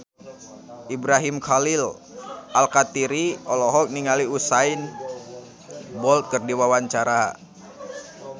Ibrahim Khalil Alkatiri olohok ningali Usain Bolt keur diwawancara